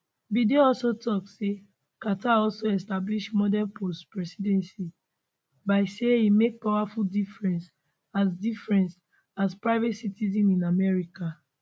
biden also tok say carter also establish model postpresidency by say e make powerful difference as difference as private citizen in america